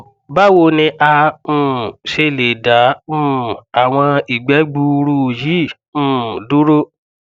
bawo ni a um ṣe le da um awọn igbe gbuuru yi um duro